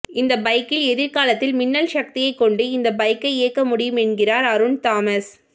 இந்த பைக்கில் எதிர்காலத்தில் மின்னல் சக்தியை கொண்டு இந்த பைக்கை இயக்க முடியும் என்கிறார் அருண் தாமஸ்